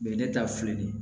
ne ta filɛ nin ye